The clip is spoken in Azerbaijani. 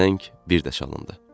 Zəng bir də çalındı.